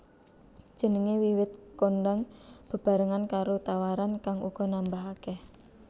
Jenengé wiwit kondhang bebarengan karo tawaran kang uga nambah akèh